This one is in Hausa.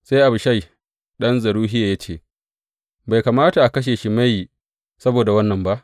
Sai Abishai ɗan Zeruhiya ya ce, Bai kamata a kashe Shimeyi saboda wannan ba?